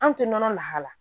An tɛ nɔnɔ lahala